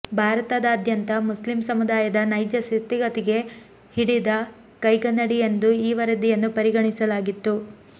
ಭಾರತಾದ್ಯಂತ Muslim ಸಮುದಾಯದ ನೈಜ ಸ್ಥಿತಿಗತಿಗೆ ಹಿಡಿದ ಕೈಗನ್ನಡಿಯೆಂದು ಈ ವರದಿಯನ್ನು ಪರಿಗಣಿಸಲಾಗಿತ್ತು